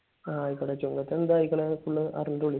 ആഹ് ആയിക്കോട്ടെ. ചുങ്കത്ത് എന്ത് ആയിക്കണെന്ന് ഒന്ന് അറിഞ്ഞിട്ട് വിളി.